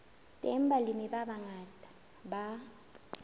teng balemi ba bangata ba